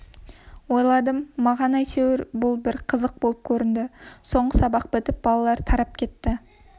ойладым маған әйтеуір бұл бір қызық болып көрінді соңғы сабақ бітіп балалар тарап кетті